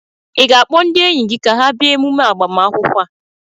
ị ga-akpọ ndị enyi gị ka ha bịa emumme agbamakwụkwọ a?